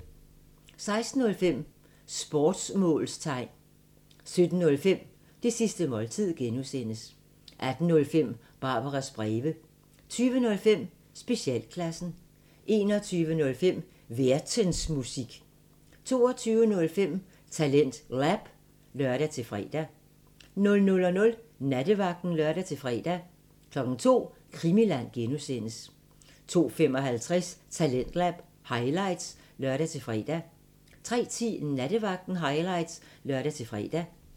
16:05: Sportsmålstegn 17:05: Det sidste måltid (G) 18:05: Barbaras breve 20:05: Specialklassen 21:05: Værtensmusik 22:05: TalentLab (lør-fre) 00:00: Nattevagten (lør-fre) 02:00: Krimiland (G) 02:55: Talentlab highlights (lør-fre) 03:10: Nattevagten highlights (lør-fre)